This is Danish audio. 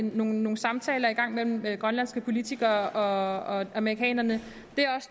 nogle samtaler i gang mellem grønlandske politikere og amerikanerne